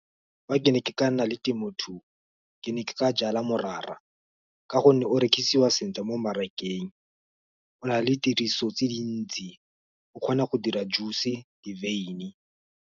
Fa ke ne ke ka nna le temothuo, ke ne ke ka jala morara, ka gonne o rekisiwa sentle mo mmarakeng, o na le tiriso tse dintsi, o kgona go dira juice di-wyn-e.